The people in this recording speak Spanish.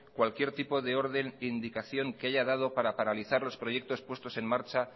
cualquier tipo de orden e indicación que haya dado para paralizar los proyectos puestos en marcha